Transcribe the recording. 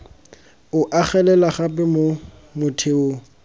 o agelela gape mo motheong